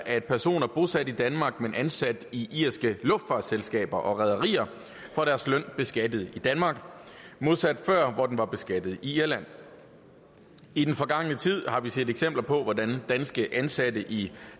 at personer bosat i danmark men ansat i irske luftfartsselskaber og rederier får deres løn beskattet i danmark modsat før hvor den blev beskattet i irland i den forgangne tid har vi set eksempler på hvordan danske ansatte i